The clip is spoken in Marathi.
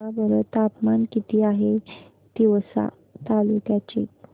सांगा बरं तापमान किती आहे तिवसा तालुक्या चे